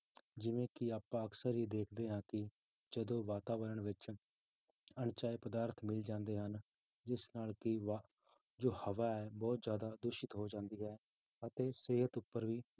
ਜਿਵੇਂ ਕਿ ਆਪਾਂ ਅਕਸਰ ਹੀ ਦੇਖਦੇ ਹਾਂ ਕਿ ਜਦੋਂ ਵਾਤਾਵਰਨ ਵਿੱਚ ਅਣਚਾਹੇ ਪਦਾਰਥ ਮਿਲ ਜਾਂਦੇ ਹਨ, ਜਿਸ ਨਾਲ ਕਿ ਵਾ~ ਜੋ ਹਵਾ ਹੈ ਬਹੁਤ ਜ਼ਿਆਦਾ ਦੂਸ਼ਿਤ ਹੋ ਜਾਂਦੀ ਹੈ ਅਤੇ ਸਿਹਤ ਉੱਪਰ ਵੀ